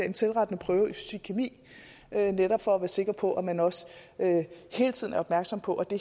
en selvrettende prøve i fysikkemi netop for at være sikker på at man også hele tiden er opmærksom på at det